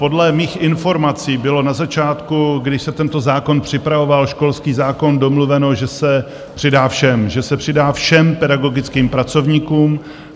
Podle mých informací bylo na začátku, když se tento zákon připravoval - školský zákon - domluveno, že se přidá všem, že se přidá všem pedagogickým pracovníkům.